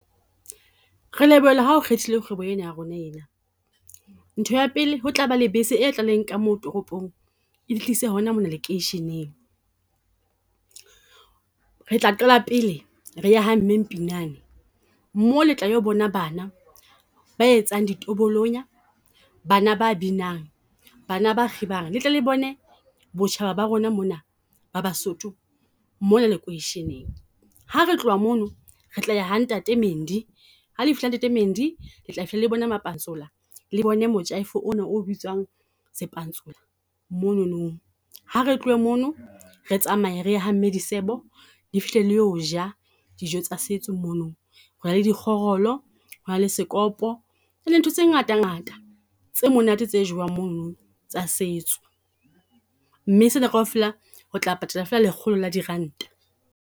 Re lebohela ha o kgethile kgwebo ena ya rona ena, ntho ya pele ho tla ba le bese e tla le nka ka mo toropong, e le tlise hona mona lekeisheneng. Retla qala pele re ye ha mme Mpinane, mo le tla yo bona bana ba etsang dibolonya. Bana ba binang, bana ba kgibang le tlele bone botjhaba ba rona mona ba Basotho mona lekoisheneng. Ha re tloha mono re tla ya ha ntate Mendi, ha le fihla ha ntate Mendi le tla fihla le bona mapantsola le bone mojaifo ona o bitswang sepantsola monono. Ha re tlohe mono re tsamaye re ha mme Disebo le fihle le o ja dijo tsa setso mono, ho na le dikgorolo hona le sekopo. Ho na le ntho tse ngata ngata tse monate tse jowang mono tsa setso, mme se na kaofela ho tla patala feela lekgolo le diranta.